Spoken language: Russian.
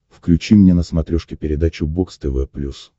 включи мне на смотрешке передачу бокс тв плюс